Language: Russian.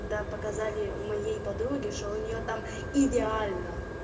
когда показали у моей подруги что у нее там идеально